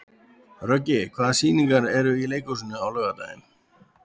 Röggi, hvaða sýningar eru í leikhúsinu á laugardaginn?